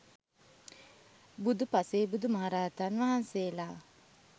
බුදු, පසේබුදු, මහරහතන් වහන්සේලා